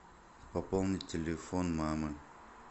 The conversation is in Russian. пополнить телефон мамы